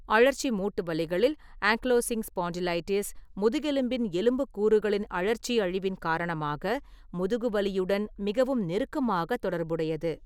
அழற்சி மூட்டுவலிகளில், ankylosing spondylitis முதுகெலும்பின் எலும்பு கூறுகளின் அழற்சி அழிவின் காரணமாக முதுகுவலியுடன் மிகவும் நெருக்கமாக தொடர்புடையது.